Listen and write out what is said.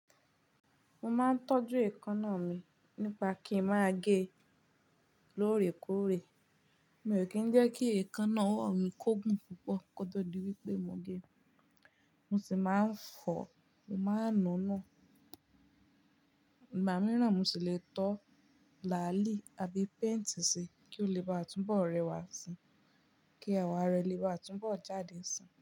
Mo máa ń tọ́jú èékánná mi nípa kí n máa gé lóòrèkóòrè. Mi ò kí ń jẹ́ kí èékánná ọwọ́ mi kógun púpọ̀ kó tó di wípé mo gé e. Mo sì máa ń fọ, mo máa ń nu nu. Igba mi rán mo ṣì lè tọ́ làálì àbí painti ṣi kí ó le bá túnbọ̀ rẹwà síi, kí ewa re lè bá túnbọ̀ jáde si.